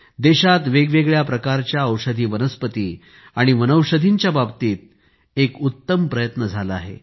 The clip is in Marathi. देशात वेगवेगळ्या प्रकारच्या औषधी वनस्पती आणि वनौषधींच्या बाबतीत एक उत्तम प्रयत्न झाला आहे